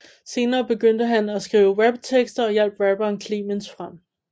Senere begyndte han at skrive raptekster og hjalp rapperen Clemens frem